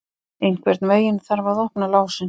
Einhvern veginn þarf að opna lásinn!